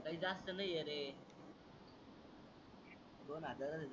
तस नाही आहे रे दोन हजार